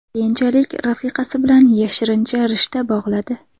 Keyinchalik rafiqasi bilan yashirincha rishta bog‘ladi.